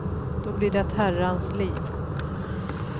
Då blir det ett herrans liv.